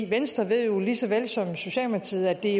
venstre ved jo lige så vel som socialdemokratiet at det